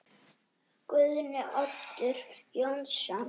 Guðni Oddur Jónsson